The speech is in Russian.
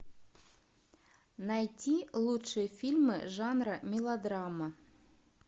найти лучшие фильмы жанра мелодрама